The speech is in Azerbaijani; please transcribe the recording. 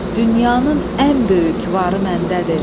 dünyanın ən böyük varı məndədir.